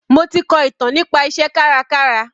Mo ti kọ ìtàn nípa iṣẹ́ kárakára.